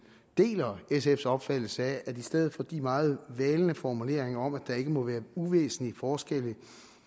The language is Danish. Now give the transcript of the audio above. deler sfs opfattelse af at i stedet for de meget valne formuleringer om at der ikke må være uvæsentlige forskelle